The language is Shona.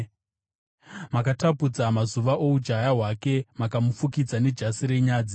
Makatapudza mazuva oujaya hwake; makamufukidza nejasi renyadzi. Sera